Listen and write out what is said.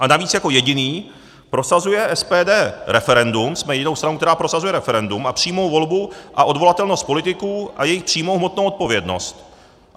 A navíc jako jediné prosazuje SPD referendum, jsme jedinou stranou, která prosazuje referendum a přímou volbu a odvolatelnost politiků a jejich přímou hmotnou odpovědnost.